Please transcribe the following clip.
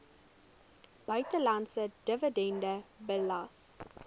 buitelandse dividend belas